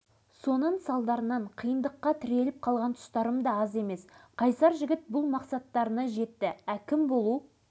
алашыбай арал ауданына әкім болған екі жарым жыл ішінде осы айтылғандардың бәрі орындалды